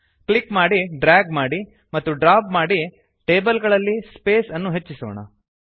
click ಮಾಡಿ drag ಮಾಡಿ ಮತ್ತು ಡ್ರಾಪ್ ಮಾಡಿ ಟೇಬಲ್ ಗಳಲ್ಲಿ ಸ್ಪೇಸ್ ಜಾಗ ಅನ್ನು ಹೆಚ್ಚಿಸೋಣ